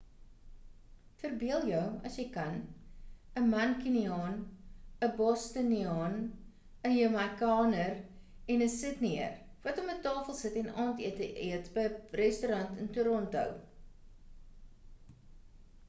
verbeel jou as jy kan 'n mancuniaan 'n bostoniaan 'n jamaikaner en 'n sydnieër wat om 'n tafel sit en aandete eet by 'n restaurant in toronto